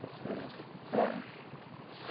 Está certo. É.